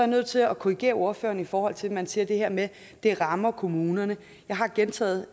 nødt til at korrigere ordføreren i forhold til at man siger det her med at det rammer kommunerne jeg har gentaget